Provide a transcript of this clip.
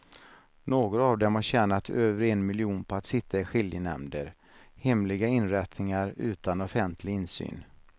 Några av dem har tjänat över en miljon på att sitta i skiljenämnder, hemliga inrättningar utan offentlig insyn.